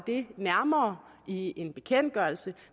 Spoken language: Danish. det nærmere i en bekendtgørelse